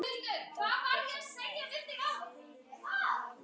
Dóttir þeirra er Sara, nemi.